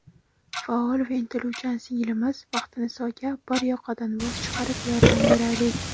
Faol va intiluvchan singlimiz Baxtinisoga bir yoqadan bosh chiqarib yordam beraylik.